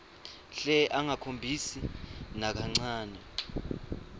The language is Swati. hle angakhombisi nakancane